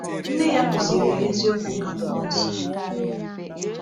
Nne ya kụziri ya eziokwu nke Akwụkwọ Nsọ.